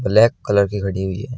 Black colour की खड़ी हुई है।